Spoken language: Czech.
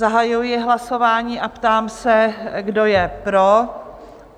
Zahajuji hlasování a ptám se, kdo je pro?